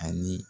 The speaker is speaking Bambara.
Ani